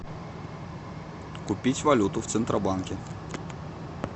купить валюту в центробанке